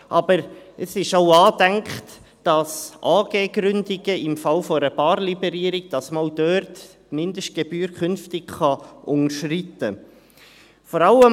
Aber es ist angedacht, dass man bei AG-Gründungen im Fall einer Barliberierung die Mindestgebühr künftig auch unterschreiten kann.